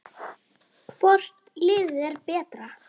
Hvort liðið er betra?